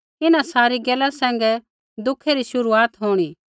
इन्हां सारी गैला सैंघै दुखै री शुरूआत होंणी